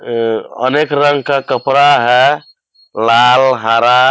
उं अनेक रंग का कपड़ा है लाल हरा --